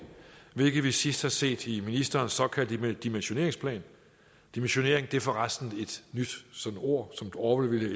hvilket vi sidst har set i ministerens såkaldte dimensioneringsplan dimensionering er for resten et nyt ord som orwell ville